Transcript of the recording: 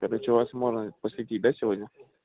это что вас можно посетить да сегодня